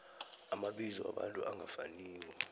amabizo wabantu angafaniko